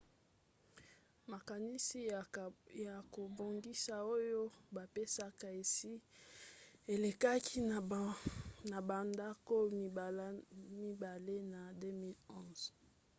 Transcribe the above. makanisi ya kobongisa oyo bapesaki esi elekaki na bandako mibale na 2011